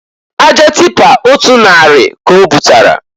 Aja tipa otu narị ka obutara.